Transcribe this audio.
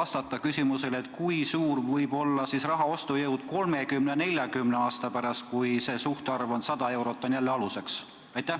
vastata ka küsimusele, kui suur võib olla raha ostujõud 30–40 aasta pärast, kui aluseks on jälle 100 eurot.